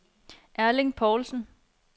Erling Poulsen